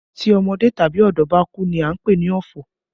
Tí ọmọdé tàbí ọ̀dọ́ bá kú ní a ń pè ní ọ̀fọ̀